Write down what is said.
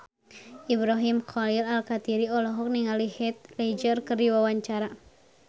Ibrahim Khalil Alkatiri olohok ningali Heath Ledger keur diwawancara